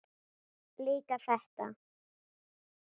Líka þetta.